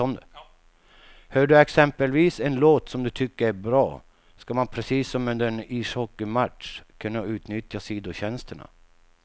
Hör du exempelvis en låt som du tycker är bra, ska man precis som under en ishockeymatch kunna utnyttja sidotjänsterna.